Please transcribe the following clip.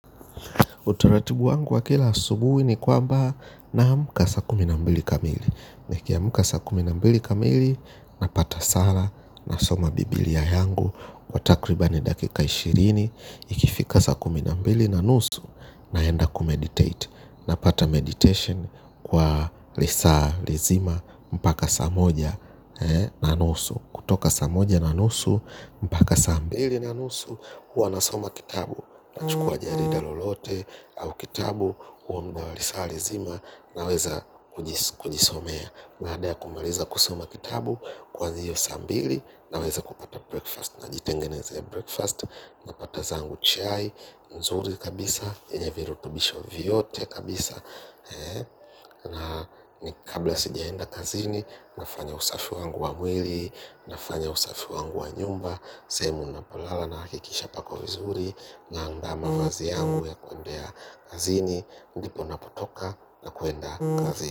Utaratibu wangu wa kila asubuhi ni kwamba naamka saa kumi na mbili kamili nikiamka saa kumi na mbili kamili napata sala nasoma biblia yangu kwa takribani dakika ishirini ikifika saa kumi na mbili na nusu naenda kumeditate. Napata meditation kwa lisaa, lizima, mpaka saa moja na nusu. Kutoka saa moja na nusu, mpaka saa mbili na nusu, huwa nasoma kitabu. Nachukua jarida lolote au kitabu huo muda lisaa lizima naweza kujisomea baada ya kumaliza kusoma kitabu kwanza hiyo saa mbili naweza kupata breakfast. Na jitengenezea breakfast napata zangu chai nzuri kabisa yenye virutubisho vyote kabisa. Na ni kabla sijaenda kazini nafanya usafi wangu wa mwili nafanya usafi wangu wa nyumba sehemu ninapolala nahakikisha pako vizuri. Naanda mavazi yangu ya kuendea kazini. Ndipo napotoka na kuwenda kazini.